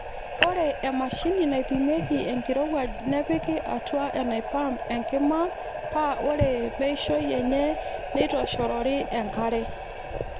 Ore emashini naipimieki enkirowuaj nepiki atua enaipaamp enkima paa ore meishoi enye neitoshorori enkare.